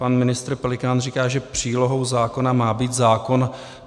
Pan ministr Pelikán říká, že přílohou zákona má být zákon.